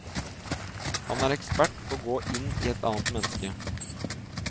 Han er ekspert på å gå inn i et annet menneske.